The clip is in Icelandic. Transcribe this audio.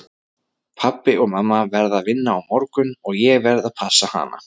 Pabbi og mamma verða að vinna á morgun og ég verð að passa hana.